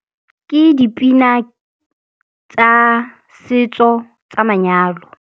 Ke dipina tsa setso tsa manyalo.